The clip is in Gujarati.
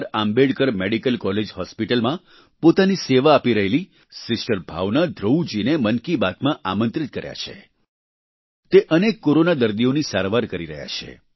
આંબેડકર મેડિકલ કોલેજ હોસ્પિટલમાં પોતાની સેવા આપી રહેલી સિસ્ટર ભાવના ધ્રુવ જીને મન કી બાતમાં આમંત્રિત કર્યા છે તે અનેક કોરોના દર્દીઓની સારવાર કરી રહ્યા છે